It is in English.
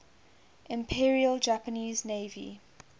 imperial japanese navy